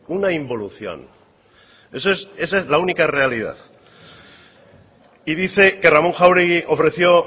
una involución esa es la única realidad y dice que ramón jáuregui ofreció